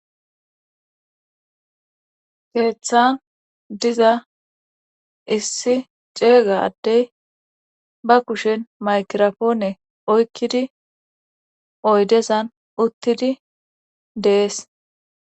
keeththan diza issi ceega adey ba kushen makirapoone oykkidi oydezan uttidi de'es